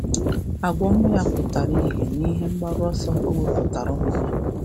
Agwa ọma ya pụtara ihe n’ihe mgbaru ọsọ o wepụtaara ụmụ ya.